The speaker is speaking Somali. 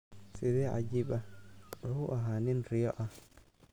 Sidee cajiib ah, wuxuu ahaa nin riyo ah.